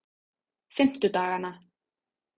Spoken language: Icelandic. fimmtudagana